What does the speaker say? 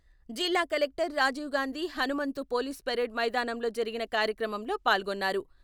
జిల్లా collector Rajiv Gandhi Hanumanthu police parade మైదానంలో జరిగిన కార్యక్రమంలో పాల్గొన్నారు.